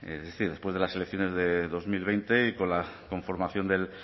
es decir después de las elecciones de dos mil veinte y con la conformación del